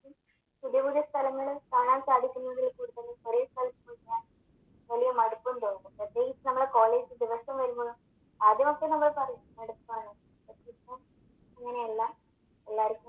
പുതിയ പുതിയ സ്ഥലങ്ങള് കാണാൻ സാധിക്കുന്നതിൽ കൂടുതൽ ഒരേ സ്ഥലത്ത് പോവാൻ വലിയ മടുപ്പും തോന്നും പ്രത്യേകിച്ച് നമ്മള് കോളേജിൽ ദിവസവും വരുമ്പോ ആ ദിവസം നമ്മൾ പറയും മടുപ്പാണ് പക്ഷെ ഇപ്പൊ അങ്ങനല്ല എല്ലാര്ക്കും